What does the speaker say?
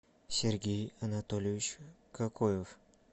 сергей анатольевич какоев